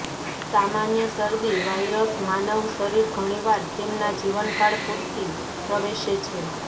સામાન્ય શરદી વાયરસ માનવ શરીર ઘણીવાર તેમના જીવનકાળ પૂરતી પ્રવેશે છે